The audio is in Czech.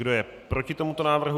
Kdo je proti tomuto návrhu?